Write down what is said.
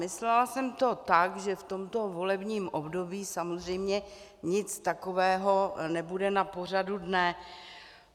Myslela jsem to tak, že v tomto volebním období samozřejmě nic takového nebude na pořadu dne.